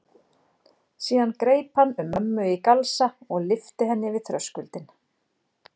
Síðan greip hann um mömmu í galsa og lyfti henni yfir þröskuldinn.